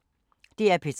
DR P3